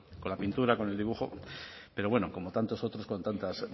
con la pintura con el dibujo pero bueno como tantos otros con tantas